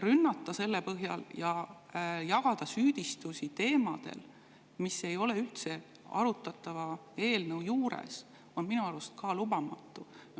Rünnata selle põhjal ja jagada süüdistusi teemadel, mis ei ole arutatava eelnõuga üldse, on minu arust lubamatu.